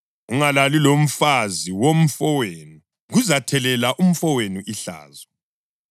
Ungalali lomfazi womfowenu; kuzathelela umfowenu ihlazo.